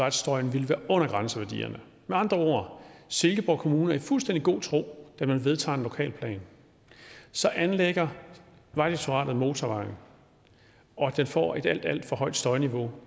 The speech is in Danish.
at støjen ville være med andre ord er silkeborg kommune i fuldstændig god tro da man vedtager en lokalplan så anlægger vejdirektoratet motorvejen og den får et alt alt for højt støjniveau